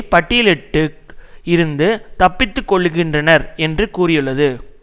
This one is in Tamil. பட்டியலிட்டு இருந்து தப்பித்து கொள்ளுகின்றனர் என்று கூறியுள்ளது